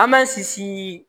An m'an sisi